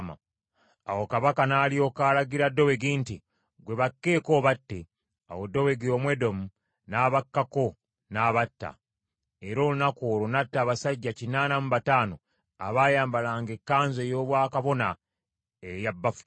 Awo kabaka n’alyoka alagira Dowegi nti, “Ggwe bakkeeko obatte.” Awo Dowegi Omwedomu n’abakkako n’abatta, era olunaku olwo n’atta abasajja kinaana mu bataano abaayambalanga ekkanzu ey’obwakabona eza bafuta.